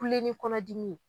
Kulen ni kɔnɔ dimi ye.